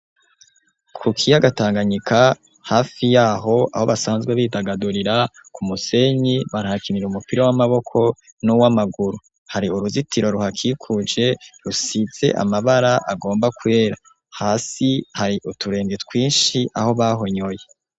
ku kiyaga tanganyika hafi yaho aho basanzwe bidagadurira ku musenyi barKhakinira umupira w'amaboko n'uw'amaguru hari uruzitiro ruhakikuje rusitse amabara agomba kwera hasi hari uturenge twinshi aho bahonyoye.